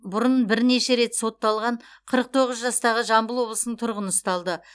бұрын бірнеше рет сотталған қырық тоғыз жастағы жамбыл облысының тұрғыны ұсталды